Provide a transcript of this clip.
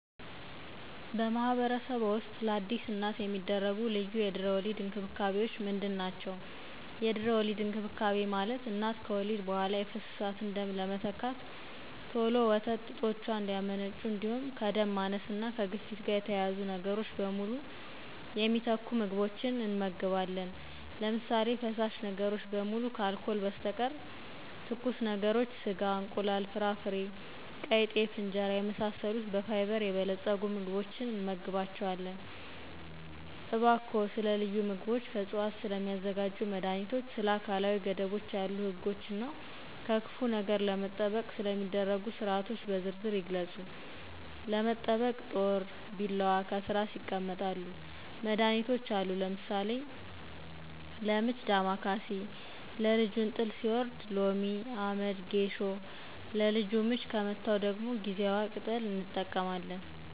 በማኅበረሰብዎ ውስጥ ለአዲስ እናት የሚደረጉ ልዩ የድህረ-ወሊድ እንክብካቤዎች ምንድን ናቸው? የድህረ ወሊድ እንክብካቤ ማለት እናት ከወሊድ በኋላ የፈሰሳትን ደም ለመተካት, ቶሎ ወተት ጡቶቿ እንዲያመነጩ, እንዲሁም ከደም ማነስ እና ከግፊት ጋር የተያያዙ ነገሮችን በሙሉ የሚተኩ ምግቦችን እንመግባለን። ለምሳሌ:- ፈሳሽ ነገሮች በሙሉ ከአልኮል በስተቀር, ትኩስ ነገሮች, ስጋ, እንቁላል, ፍራፍሬ, ቀይጤፍ እንጀራና የመሳሰሉ በፋይበር የበለፀጉ ምግቦችን እንመግባቸዋለን። እባክዎን ስለ ልዩ ምግቦች፣ ከዕፅዋት ስለሚዘጋጁ መድኃኒቶች፣ ስለ አካላዊ ገደቦች ያሉ ሕጎች እና ከክፉ ነገር ለመጠበቅ ስለሚደረጉ ሥርዓቶች በዝርዝር ይግለጹ። ለመጠበቅ ጦር, ቢላዋ, ከትራስ ይቀመጣሉ። መድሀኒቶች አሉ ለምሳሌ:-ለምች ዳማ ከሴ, ለልጁ እንጥል ሲወርድ ሎሚ, አመድ, ጌሾ, ለልጁ ምች ከመታው ደግሞ ጊዜዋ ቅጠል እንጠቀማለን